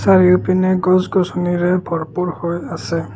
চাৰিওপিনে গছ গছনিৰে ভৰপূৰ হৈ আছে।